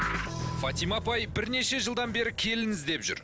фатима апай бірнеше жылдан бері келін іздеп жүр